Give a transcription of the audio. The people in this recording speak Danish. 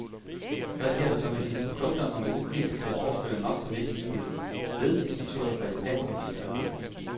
Hvad sker der så med disse produkter, når man ukritisk vil overføre nok så virkningsfulde ledelsesmetoder fra japanske bilfabrikker?